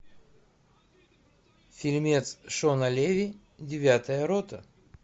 фильмец шона леви девятая рота